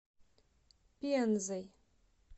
пензой